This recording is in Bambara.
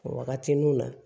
Wagati n'u na